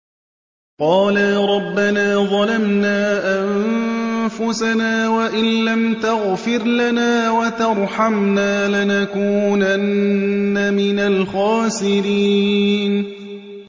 قَالَا رَبَّنَا ظَلَمْنَا أَنفُسَنَا وَإِن لَّمْ تَغْفِرْ لَنَا وَتَرْحَمْنَا لَنَكُونَنَّ مِنَ الْخَاسِرِينَ